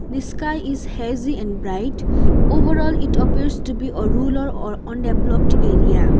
the sky is hazy and bright overall it appears to be a rular or undeveloped area.